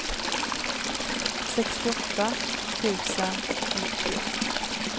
sextioåtta tusen nittio